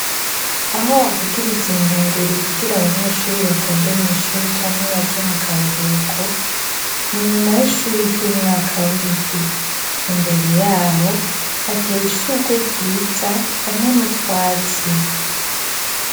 Aho bavugiriza inkengeri kugira abanyeshuri batonde mw' ishuri canke baje mu karuhuko, ni inyuma y'ishuri ry'umwaka w'indwi. Imbere yaho hateye ishurwe ryiza hamwe n'utwatsi.